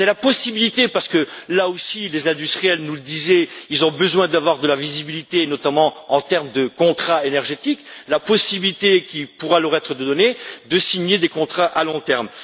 C'est la possibilité parce que là aussi les industriels nous disent qu'ils ont besoin d'avoir de la visibilité, notamment en termes de contrats énergétiques qui pourra leur être donnée de signer des contrats à long terme.